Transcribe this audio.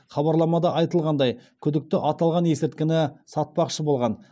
хабарламада айтылғандай күдікті аталған есірткіні сатпақшы болған